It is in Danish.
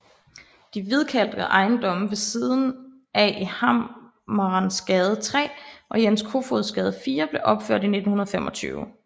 De hvidkalkede ejendomme ved siden af i Hammerensgade 3 og Jens Kofods Gade 4 blev opført i 1925